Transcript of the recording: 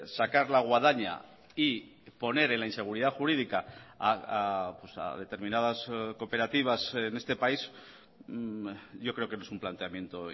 sacar la guadaña y poner en la inseguridad jurídica a determinadas cooperativas en este país yo creo que no es un planteamiento